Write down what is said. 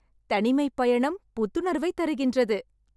தனிமைப் பயணம் புத்துணர்வை தருகின்றது